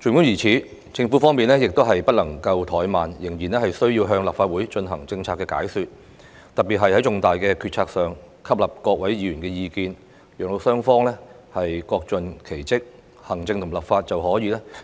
儘管如此，政府方面亦不能怠慢，仍然需要向立法會進行政策解說，特別是在重大決策上吸納各議員的意見，讓雙方各盡其職，行政與立法便